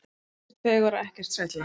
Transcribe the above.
Ekkert fegurra, ekkert sælla.